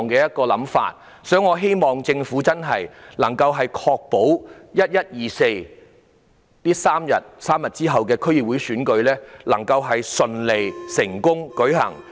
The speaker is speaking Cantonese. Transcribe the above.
因此，我希望政府能夠確保11月24日，即3日後的區議會選舉能夠順利成功地舉行。